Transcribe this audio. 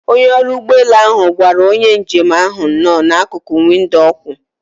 Onye ọrụ ụgbọelu ahụ gwara onye njem ahụ nno na akuku windo okwu.